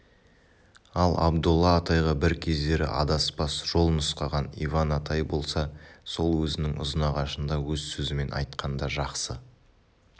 ал абдолла атайға бір кездері адаспас жол нұсқаған иван атай болса сол өзінің ұзынағашында өз сөзімен айтқанда жақсы